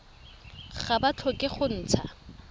ga ba tlhoke go ntsha